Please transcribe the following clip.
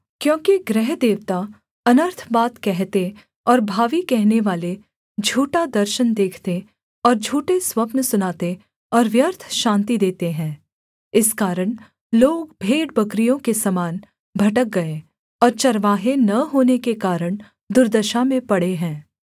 क्योंकि गृहदेवता अनर्थ बात कहते और भावी कहनेवाले झूठा दर्शन देखते और झूठे स्वप्न सुनाते और व्यर्थ शान्ति देते हैं इस कारण लोग भेड़बकरियों के समान भटक गए और चरवाहे न होने के कारण दुर्दशा में पड़े हैं